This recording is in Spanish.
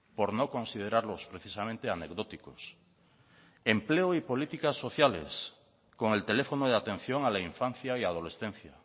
por no considerarlos precisamente anecdóticos empleo y políticas sociales con el teléfono de atención a la infancia y adolescencia